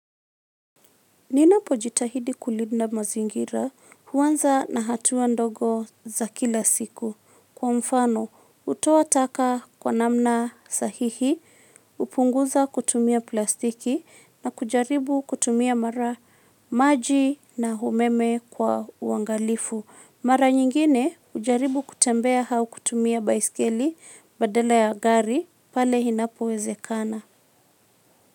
Ninapojitahidi kulinda mazingira huanza na hatua ndogo za kila siku kwa mfano hutoa taka kwa namna sahihi, hupunguza kutumia plastiki na kujaribu kutumia mara maji na umeme kwa uangalifu. Mara nyingine hujaribu kutembea au kutumia baiskeli badala ya gari pale inapowezekana.